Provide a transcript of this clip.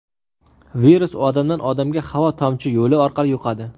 Virus odamdan odamga havo-tomchi yo‘li orqali yuqadi.